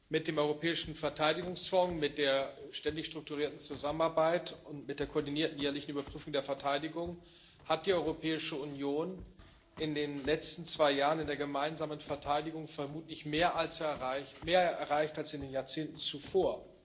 Mit dem Europäischen Verteidigungsfonds, mit der Ständigen Strukturierten Zusammenarbeit und mit der Koordinierten Jährlichen Überprüfung der Verteidigung hat die Europäische Union in den letzten zwei Jahren in der gemeinsamen Verteidigung vermutlich mehr erreicht als in den Jahrzehnten zuvor.